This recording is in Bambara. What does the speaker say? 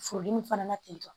Furudimi fana na tentɔ